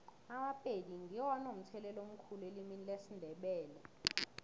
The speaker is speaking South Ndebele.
amapedi ngiwo anomthelela omkhulu elimini lesindebele